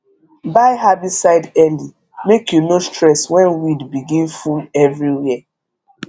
buy herbicide early make you no stress when weed begin full everywhere